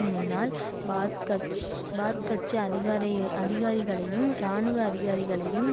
முன்னாள் பாத்கட்ச் பாத்கட்சி அதிகார் அதிகாரிகளையும் இராணுவ அதிகாரிகளையும்